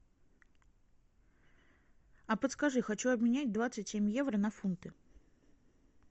а подскажи хочу обменять двадцать семь евро на фунты